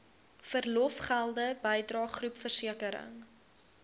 verlofgelde bydrae groepversekering